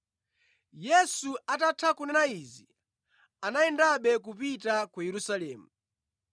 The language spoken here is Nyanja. Yesu atatha kunena izi, anayendabe kupita ku Yerusalemu.